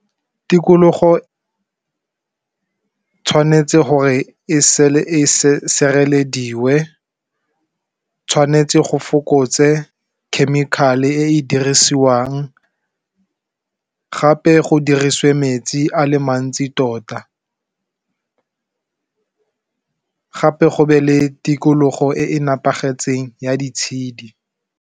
Tikologo tshwanetse gore e setse e sirelediwe tshwanetse go fokotse chemical-e e dirisiwang gape go dirisiwe metsi a le mantsi tota, gape go be le tikologo e e nepagetseng ya di tshedi.